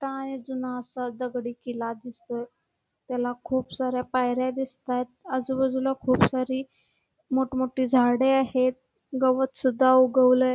जुना असा दगडी किल्ला दिसतोय त्याला खूप साऱ्या पायऱ्या दिसतायत आजूबाजूला खूप सारी मोठं मोठी झाडे आहेत गवत सुद्धा उगवलंय.